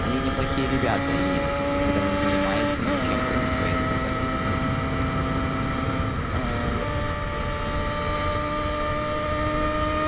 они неплохие ребята ли когда не занимаются ничем кроме своей энциклопедии